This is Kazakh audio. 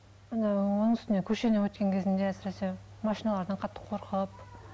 оның үстіне көшемен өткен кезімде әсіресе машиналардан қатты қорқып